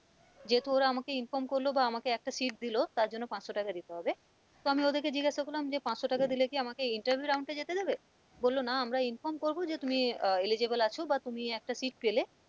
যেহেতু ওরা আমাকে inform করলো বা আমাকে একটা seat দিলো তার জন্য পাঁচশো টাকা দিতে হবে তো আমি ওদেরকে জিজ্ঞাসা করলাম যে পাঁচশো টাকা দিলে কি আমাকে interview round এ যেতে দেবে? বললো না আমরা inform করবো যে তুমি আহ eligible আছো বা তুমি একটা seat পেলে,